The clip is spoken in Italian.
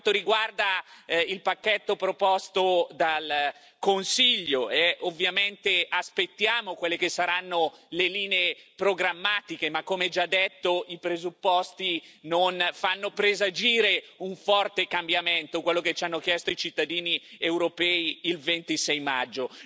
Per quanto riguarda il pacchetto proposto dal Consiglio e ovviamente aspettiamo quelle che saranno le linee programmatiche i presupposti, come già detto, non fanno presagire un forte cambiamento, quello che ci hanno chiesto i cittadini europei il 26 maggio